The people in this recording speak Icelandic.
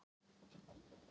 Ég var ekki sammála dómnum.